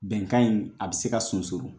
Bɛnkan in , a bɛ se ka sonsoro